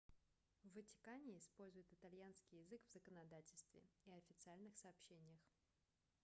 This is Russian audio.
в ватикане используют итальянский язык в законодательстве и официальных сообщениях